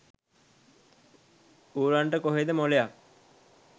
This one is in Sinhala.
ඌරන්ට කොහේද මොලයක්